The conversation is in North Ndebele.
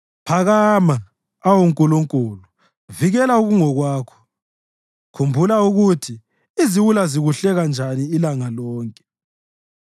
Phakama, awu Nkulunkulu, vikela okungokwakho; khumbula ukuthi iziwula zikuhleka njani ilanga lonke.